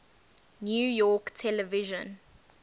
new york television